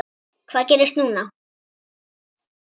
Hvað gerist núna?